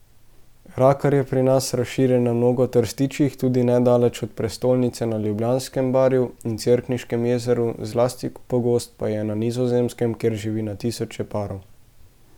Rakar je pri nas razširjen na mnogo trstičjih, tudi nedaleč od prestolnice na Ljubljanskem barju in Cerkniškem jezeru, zlasti pogost pa je na Nizozemskem, kjer živi na tisoče parov.